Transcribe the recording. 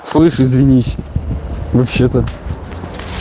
слышь извинись вообще-то